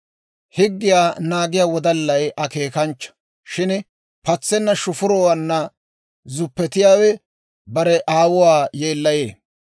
Higgiyaa naagiyaa wodallay akeekanchcha. Shin patsenna shufurotuwaanna zuppetiyaawe bare aawuwaa yeellayee.